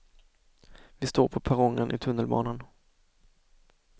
Vi står på perrongen i tunnelbanan.